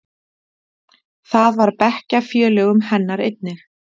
Það var bekkjarfélögum hennar einnig.